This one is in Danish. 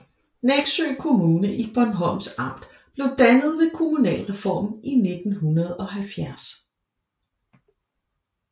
Neksø Kommune i Bornholms Amt blev dannet ved kommunalreformen i 1970